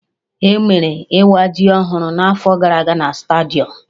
Emere Ịwa jiri ọhụrụ na'afọ gara aga na stadium